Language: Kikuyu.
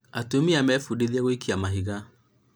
atumia mebũdithie gũikia mahiga